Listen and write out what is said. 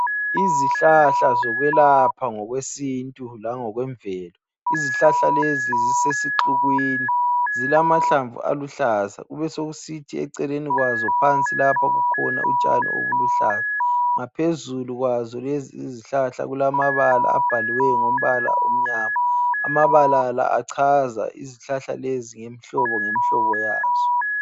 Izihlahla zokwelapha ngokwesintu langokwemvelo. Izihlahla lezi zisesixukwini. Zilamahlamvu aluhlaza. Kubesokusithi eceleni kwazo phansi lapha kukhona utshani obuluhlaza. Ngaphezulu kwazo lezizihlahla kulamabala abhaliweyo ngombala omnyama. Amabala la achaza izihlahla lezi ngemihlobo ngemihlobo yazo.